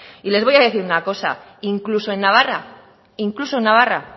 y les voy a decir una cosa incluso en navarra incluso en navarra